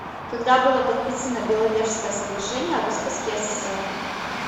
когда было подписано беловежское соглашение о роспуске ссср